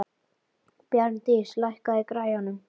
Bjarndís, lækkaðu í græjunum.